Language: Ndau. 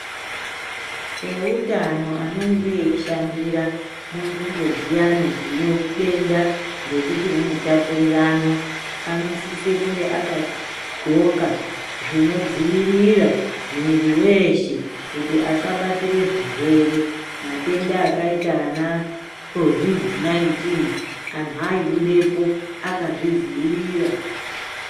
Eutano anenge eishandira munzimbo dsiyani dzine utenda rekuti rinotapuriranwa anosise kunge aka dhloka zvinodziwirira mwiri weshe kuti asabatire zvirwere matenda akaita saana covid 19 anhu aibudepo akazvidziirira.